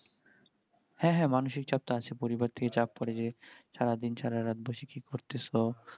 হ্যাঁ হ্যাঁ মানসিক চাপ তো আছেই, পরিবার থেকে চাপ পরে যে সারাদিন সারারাত বসে কি করতেস